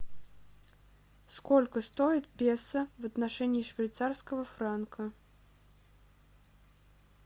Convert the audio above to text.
сколько стоит песо в отношении швейцарского франка